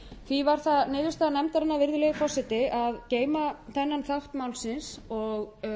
því varð það niðurstaða nefndarinnar virðulegi forseti að geyma þennan þátt málsins og